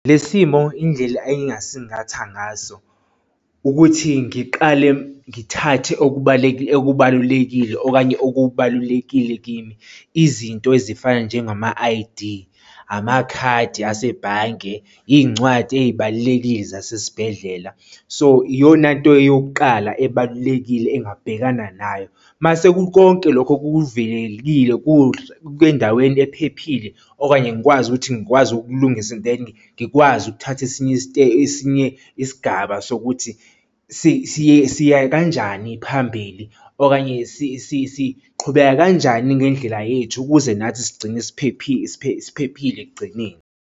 Le simo indlela engingasingatha ngaso ukuthi ngiqale ngithathe okubalulekile okanye okubalulekile kimi, izinto ezifana njengama-I_D, amakhadi asebhange, iy'ncwadi ey'balulekile zasesibhedlela. So, iyona nto yokuqala ebalulekile engabhekana nayo. Uma sekukonke lokho kuvikelekile endaweni ephephile okanye ngikwazi ukuthi ngikwazi ukulungisa and then ngikwazi ukuthatha esinye sinye isigaba sokuthi siya kanjani phambili okanye siqhubeka kanjani ngendlela yethu ukuze nathi sigcine siphephile siphephile ekugcineni.